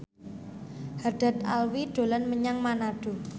Haddad Alwi dolan menyang Manado